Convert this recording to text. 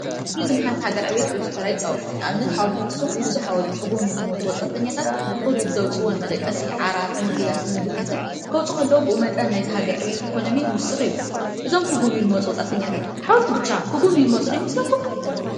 ቱሪዝም ንሓንቲ ሃገር ዕብየት ብዙሕ ተራ ይፃወቱ። ንኣብነት ሓወልቲ ኣክሱም ንዛ ሓወልቲ ክጉብንዩ ዝመፁ ወጻእተኛታትን ንክሪኡ ብዘዉፅዎ ንመደቀሲ ዓራት ንሆቴላት ምግብታትን ከዉፁ ከለዉ በኡ መጠን ናይታ ሃገር ዕብየት ኢኮኖምይ ይዉስክ እዩ። እዞም ክጉብንዩ ዝመፁ ወጻእተኛታት ሓወልቲ ብቻ ክጉብንዩ ዝመፁ ዶ ይመስለኩም ?